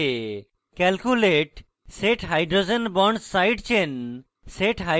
calculate set hydrogen bonds side chain